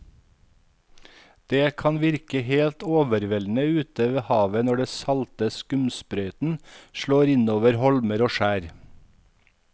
Det kan virke helt overveldende ute ved havet når den salte skumsprøyten slår innover holmer og skjær.